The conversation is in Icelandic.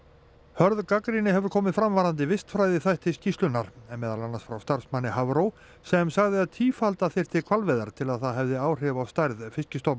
hörð gagnrýni hefur komið fram varðandi vistfræðiþætti í skýrslunni meðal annars frá starfsmanni Hafró sem sagði að tífalda þyrfti hvalveiðar til að það hefði áhrif á stærð